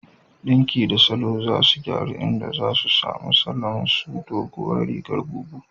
Ɗinki da salo za su gyaru, inda za a samu salo irin su "Doguwar rigar bubu"